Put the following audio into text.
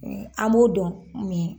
An m'o dɔn min ye.